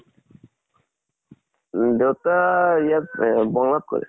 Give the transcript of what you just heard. দেউতা আ ইয়াত এহ bungalow ত কৰে।